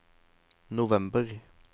november